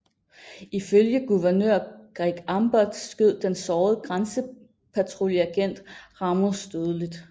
Ifølge guvernør Greg Abbott skød den sårede grænsepatruljeagent Ramos dødeligt